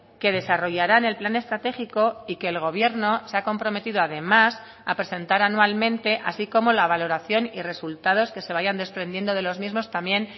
que desarrollaran el plan estratégico y que el gobierno se ha comprometido además a presentar anualmente así como la valoración y resultados que se vayan desprendiendo de los mismos también